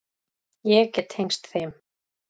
Ég get tengst þeim.